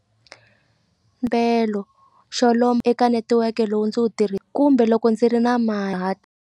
xo lomba eka netiweke lowu ndzi wu kumbe loko ndzi ri na .